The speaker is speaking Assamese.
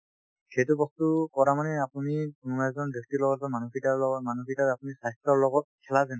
সেইটো বস্তু কৰা মানে আপুনি মানে এজন ব্যক্তিৰ লগত বা মানুহকেইটাৰ লগত মানুহকেইটাৰ আপুনি স্বাস্থ্যৰ লগত খেলা যেন